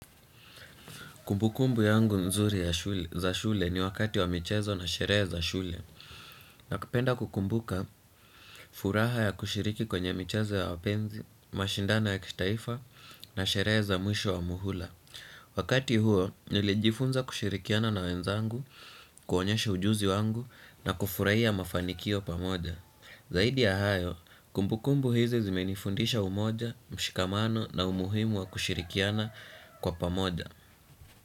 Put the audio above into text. Kumbukumbu yangu mzuri za shule ni wakati wa michezo na sherehe za shule. Kumbukumbu yangu mzuri za shule ni wakati wa michezo na sherehe za shule. Wakati huo nilijifunza kushirikiana na wenzangu, kuonyesha ujuzi wangu na kufurahia mafanikio pamoja. Zaidi ya hayo, kumbukumbu hizi zimenifundisha umoja, mshikamano na umuhimu wa kushirikiana kwa pamoja.